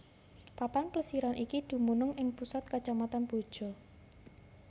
Papan plesiran iki dumunung ing pusat Kacamatan Boja